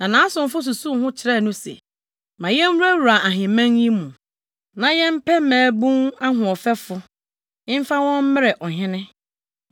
Na nʼasomfo susuw ho kyerɛɛ no se, “Ma yenwurawura ahemman yi mu, na yɛmpɛ mmabun ahoɔfɛfo mfa wɔn mmrɛ ɔhene.